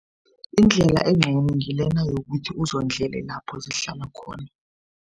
Indlela engcono ngilena yokuthi uzondlele lapho zihlala khona.